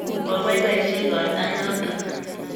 koboiboichi igorta notok.